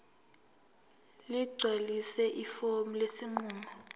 ligcwalise ifomu lesinqumo